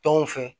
Tɔnw fɛ